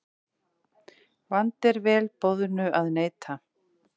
Vandi er vel boðnu að neita.